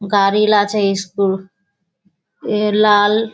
गाड़ी लाचे स्कूल ये लाल --